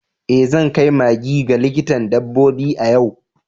Eh zan kai maggie ga likitan dabbobi a yau.